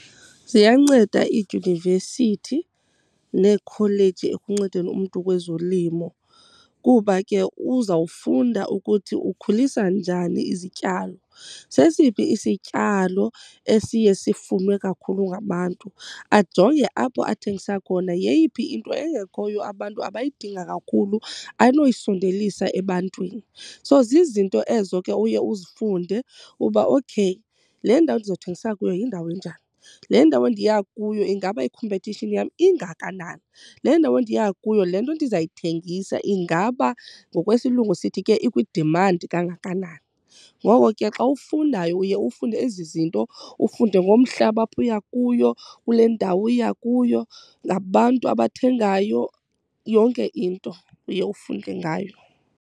Ziyanceda iidyunivesithi neekholeji ekuncedeni umntu kwezolimo kuba ke uzawufunda ukuthi ukhulisa njani izityalo, sesiphi isityalo esiye sifunwe kakhulu ngabantu, ajonge apho athengisa khona yeyiphi into engekhoyo abantu abayidinga kakhulu anoyisondelisa ebantwini. So zizinto ezo ke uye uzifunde uba okay, le ndawo ndizawuthengisa kuyo yindawo enjani? Le ndawo endiya kuyo ingaba ikhompetishini yam ingakanani? Le ndawo endiya kuyo le nto ndizayithengisa ingaba ngokwesilungu sithi ke ikwi-demand kangakanani? Ngoko ke xa ufundayo uye ufunde ezi zinto ufunde ngomhlaba apho uya kuyo, kule ndawo uya kuyo, ngabantu abathengayo. Yonke into uye ufunde ngayo.